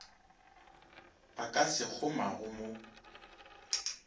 ba ka se kgomago mo